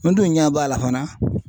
N dun ɲɛ b'a la fana.